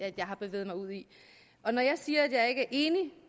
at jeg har bevæget mig ud i når jeg siger at jeg ikke enig